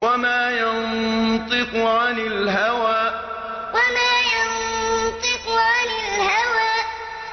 وَمَا يَنطِقُ عَنِ الْهَوَىٰ وَمَا يَنطِقُ عَنِ الْهَوَىٰ